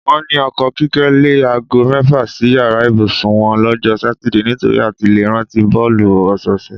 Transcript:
Wó̩n ní o̩ko̩ Kíké̩ le̩ aago mé̩fà sí yàrá ìbùsùn wo̩n ló̩jó̩ Sátidé nitori àti le rántí bó̩ò̩lù ò̩sò̩ò̩sè̩.